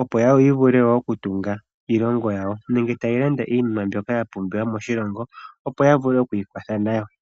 opo yi vule wo okutunga iilongo yawo. Nenge tayi landa iinima mbyoka ya pumbiwa moshilongo opo yi vule oku ikwathana nayo.